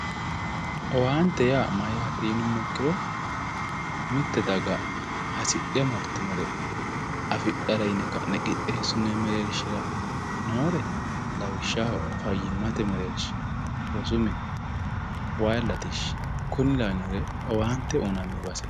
Owante ya mayate yinumo ikiro mitte daga hasidhe maritinore afidhara yine ka'ne qixesinonni merershira nore lawishaho fayimate mererisha rosu mine wayi latisha kuri lawinoreti owante uyinani baseti